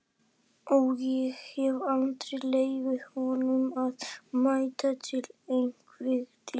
Ó, ég hefði aldrei leyft honum að mæta til einvígis!